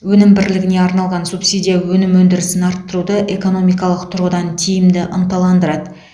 өнім бірлігіне арналған субсидия өнім өндірісін арттыруды экономикалық тұрғыдан тиімді ынталандырады